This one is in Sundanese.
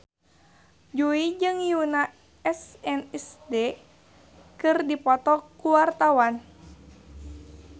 Jui jeung Yoona SNSD keur dipoto ku wartawan